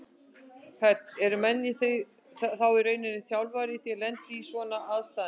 Hödd: Eru menn þá í rauninni þjálfaðir í því að lenda í svona aðstæðum?